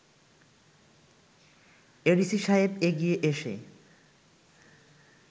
ADC সাহেব এগিয়ে এসে